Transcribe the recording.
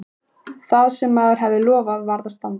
Það sem maður hafði lofað varð að standa.